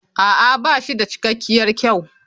A'a ba shi da cikakkiyar kyau.